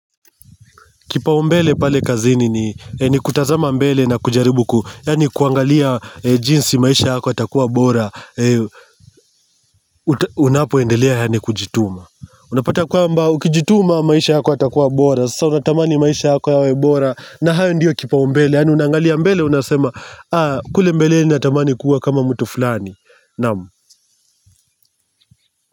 Kipaumbele pale kazini ni kutazama mbele na kujaribu kuangalia jinsi maisha yako yatakuwa bora Unapoendelea kujituma Unapata kwamba ukijituma maisha yako yatakuwa bora Sasa unatamani maisha yako yawe bora na hayo ndiyo kipaumbele Unangalia mbele unasema kweli mbele ninatamani kuwa kama mtu fulani Naam.